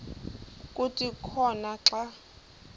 kuthi khona xa